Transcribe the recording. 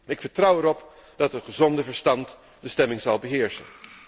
Ik vertrouw erop dat het gezond verstand de stemming zal beheersen.